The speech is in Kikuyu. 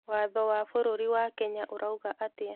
Watho wa bũrũri wa Kenya ũrauga atĩa?